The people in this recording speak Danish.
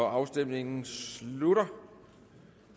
afstemningen slutter